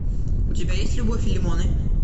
у тебя есть любовь и лимоны